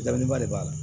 Dabileni ba de b'a la